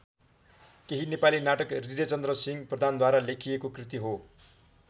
केही नेपाली नाटक हृदयचन्द्रसिंह प्रधानद्वारा लेखिएको कृति हो।